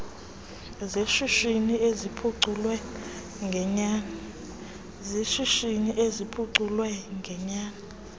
zeshishini eziphuculwe ngenyani